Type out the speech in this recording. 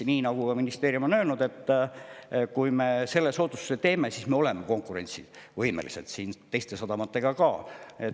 Nii nagu ka ministeerium on öelnud, kui me selle soodustuse teeme, siis me oleme teiste sadamatega konkurentsivõimelised.